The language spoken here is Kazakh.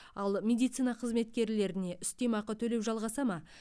ал медицина қызметкерлеріне үстемақы төлеу жалғаса ма